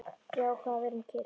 Ég ákvað að vera um kyrrt